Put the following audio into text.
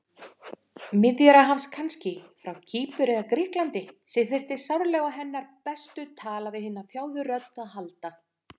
Miðjarðarhafs kannski, frá Kýpur eða Grikklandi, sem þyrfti sárlega á hennar bestu tala-við-hina-þjáðu-rödd að halda.